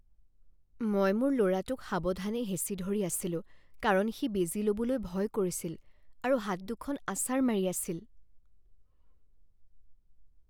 মই মোৰ ল'ৰাটোক সাৱধানে হেঁচি ধৰি আছিলোঁ কাৰণ সি বেজী ল'বলৈ ভয় কৰিছিল আৰু হাত দুখন আছাৰ মাৰি আছিল।